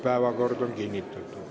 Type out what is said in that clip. Päevakord on kinnitatud.